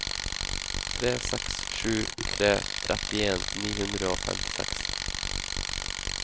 tre seks sju tre trettien ni hundre og femtiseks